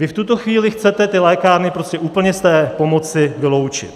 Vy v tuto chvíli chcete ty lékárny prostě úplně z té pomoci vyloučit.